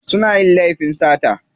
Suna yin laifin sata.